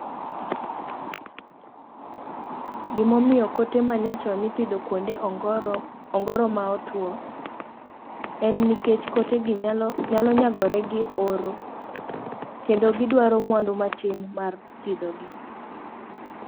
Gimomio kote machon ipidho kuonde ongoro ongoro maotuo, en nikech kotegi nyalo nyalo nyagore gi oro, kendo gidwaro mwandu matin mar pidho gi.